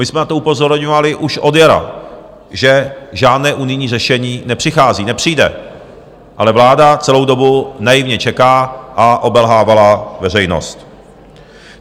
My jsme na to upozorňovali už od jara, že žádné unijní řešení nepřichází, nepřijde, ale vláda celou dobu naivně čeká a obelhávala veřejnost.